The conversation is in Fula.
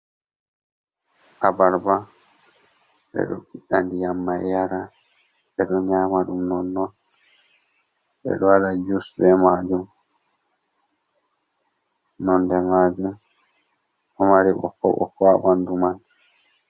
Abarba ɓeɗo ɓiɗɗda ndiyam mai yara, ɓeɗo nyama ɗum nonnon, ɓeɗo waɗa juice be majum nonde majum ɗo mari ɓokko ɓokko ha ɓandu man.